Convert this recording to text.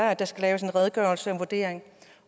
at der skal laves en redegørelse og en vurdering